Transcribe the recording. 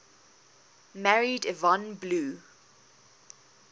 married yvonne blue